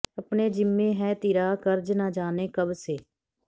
ਅਪਨੇ ਜਿੰਮੇ ਹੈ ਤਿਰਾ ਕਰਜ਼ ਨ ਜਾਨੇ ਕਬ ਸੇ